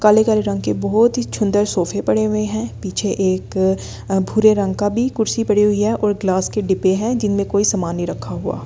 काले काले रंग के बहुत ही सुंदर सोफे पड़े हुए हैं पीछे एक अ भूरे रंग का भी कुर्सी पड़ी हुई है और ग्लास के डिबे हैं जिनमें कोई सामान नहीं रखा हुआ।